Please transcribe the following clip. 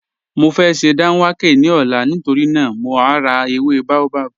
Mọ fẹ́ sẹ́ dánwàkẹ̀ ní ọ̀là nítorí naa mọ̀ rá èwé baobab